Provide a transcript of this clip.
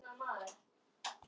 Það er nokkuð til í því.